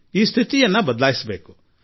ಈ ಪರಿಸ್ಥಿತಿಯನ್ನು ಬದಲಾಯಿಸಬೇಕಾಗಿದೆ